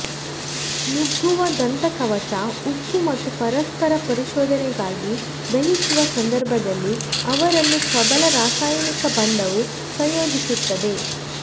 ನುಗ್ಗುವ ದಂತಕವಚ ಉಕ್ಕು ಮತ್ತು ಪರಸ್ಪರ ಪರಿಶೋಧನೆಗಾಗಿ ದಹಿಸುವ ಸಂದರ್ಭದಲ್ಲಿ ಅವರನ್ನು ಪ್ರಬಲ ರಾಸಾಯನಿಕ ಬಂಧವು ಸಂಯೋಜಿಸುತ್ತದೆ